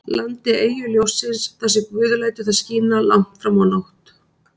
landi, eyju ljóssins, þar sem guð lætur það skína langt fram á nótt.